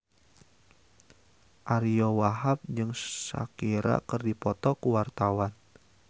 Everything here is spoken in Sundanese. Ariyo Wahab jeung Shakira keur dipoto ku wartawan